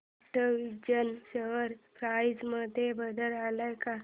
कॅटविजन share price मध्ये बदल आलाय का